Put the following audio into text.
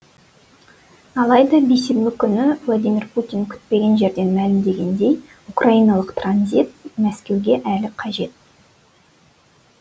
алайда бейсенбі күні президент владимирпутин күтпеген жерден мәлімдегендей украиналық транзит мәскеуге әлі қажет